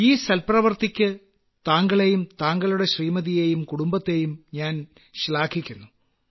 ഈ സൽപ്രവർത്തിക്ക് താങ്കളേയും താങ്കളുടെ ശ്രീമതിയേയും കുടുംബത്തേയും ഞാൻ ശ്ലാഘിക്കുന്നു